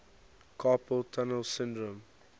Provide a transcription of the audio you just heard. carpal tunnel syndrome